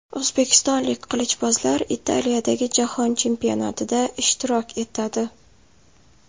O‘zbekistonlik qilichbozlar Italiyadagi jahon chempionatida ishtirok etadi.